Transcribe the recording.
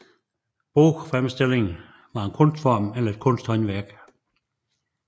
Bogfremstillingen var en kunstform eller kunsthåndværk